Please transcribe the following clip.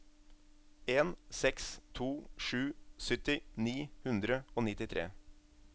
en seks to sju sytti ni hundre og nittitre